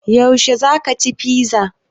Yaushe za ka ci fiza?